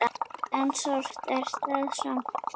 En sárt er það samt.